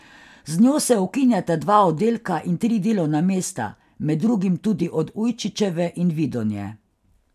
Z njo se ukinjata dva oddelka in tri delovna mesta, med drugim tudi od Ujčičeve in Vidonje.